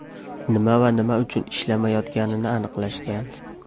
Nima va nima uchun ishlamayotganini aniqlashgan.